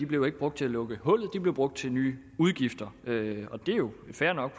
blev brugt til at lukke hullet de blev brugt til nye udgifter det er jo fair nok